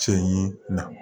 Cɛ ye na